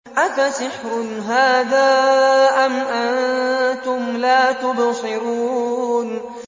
أَفَسِحْرٌ هَٰذَا أَمْ أَنتُمْ لَا تُبْصِرُونَ